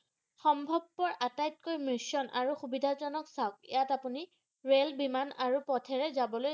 সম্ভবপৰ আটাইকেইটা মিশ্ৰণ আৰু সুবিধাজনক চাওক ইয়াত আপুনি ৰেল বিমান আৰু পথৰে যাবলৈ